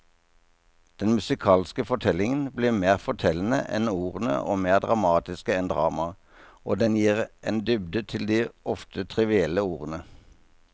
Den musikalske fortellingen blir mer fortellende enn ordene og mer dramatisk enn dramaet, og den gir en dybde til de ofte trivielle ordene.